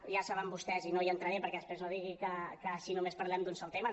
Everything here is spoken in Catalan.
ja ho saben vostès i no hi entraré perquè després no digui que només parlem d’un sol tema